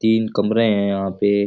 तीन कमरे है यहां पे।